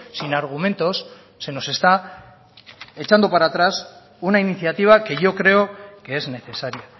sin argumentos se nos está echando para atrás una iniciativa que yo creo que es necesaria